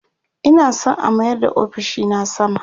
Ina San a mayar da ofishina sama